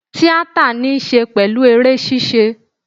Tíátà ní í ṣe pẹ̀lú eré ṣíṣe